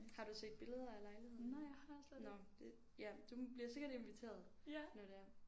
Har du set billeder af lejligheden? Nåh det ja du bliver sikkert inviteret når det er